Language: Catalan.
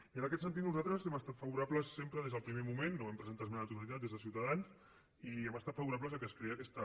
i en aquest sentit nosaltres hem estat favorables sempre des del primer moment no vam presentar esmena a la totalitat des de ciutadans i hem estat favorables que es creï aquesta